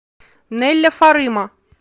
нелля фарыма